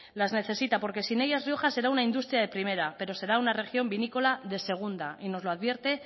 las necesita porque sin ellas rioja será una industria de primera pero será una región vinícola de segunda y nos lo advierte